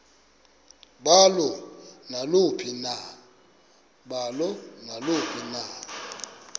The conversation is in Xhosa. balo naluphi na